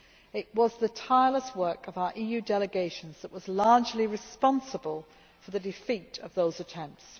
It was the tireless work of our EU delegations that was largely responsible for the defeat of those attempts.